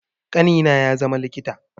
Ƙanina ya zama likita